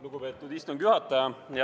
Lugupeetud istungi juhataja!